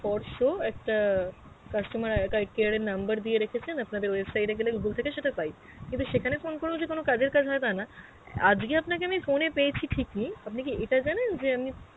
for show একটা customer আর~ care এর number দিয়ে রেখেছেন আপনাদের website এ গেলে google থেকে সেটা পাই, কিন্তু সেখানে ফোন করেও কোনো কাজের কাজ হয় তা না, আজগে আমি আপনাকে phone এ পেয়েছি ঠিক ই, আপনি কি ইটা জানেন যে আমি